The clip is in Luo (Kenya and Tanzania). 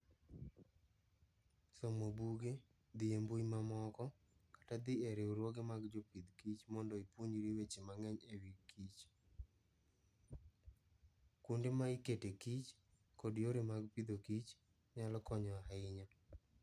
Somo buge, dhi e mbui mamoko, kata dhi e riwruoge mag jopith kich mondo ipuonjri weche mang'eny e wi kich, kuonde ma iketee kich, kod yore mag Agriculture and Food, nyalo konyo ahinya.